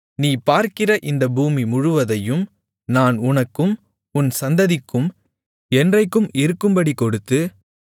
நீ பார்க்கிற இந்த பூமி முழுவதையும் நான் உனக்கும் உன் சந்ததிக்கும் என்றைக்கும் இருக்கும்படிக் கொடுத்து